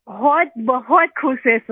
बहुतबहुत खुश हैं सर